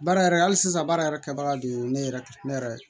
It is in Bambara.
Baara yɛrɛ hali sisan baara yɛrɛ kɛbaga de ye ne yɛrɛ ne yɛrɛ ye